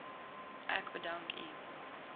ek bedank u